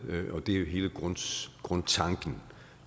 det er hele grundtanken